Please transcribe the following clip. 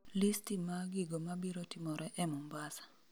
listi ma gigo mabiro timore e mombasa